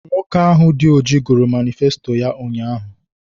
Nwoke ahụ dị ọjị gụrụ manịfesto ya ụnyaahụ